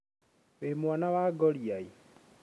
wĩ mwana wa ngoriai?